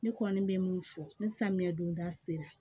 Ne kɔni bɛ mun fɔ ni samiya donda sera